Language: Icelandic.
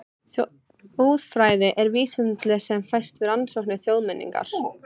Þjóðfræði er vísindagrein sem fæst við rannsókn þjóðmenningar.